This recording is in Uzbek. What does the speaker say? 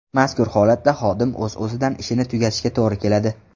Mazkur holatda xodim o‘z-o‘zidan ishini tugatishiga to‘g‘ri keladi.